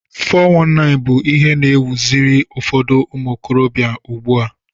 419 bụ ihe na ewuziri ụfọdụ umuokorobia ugbua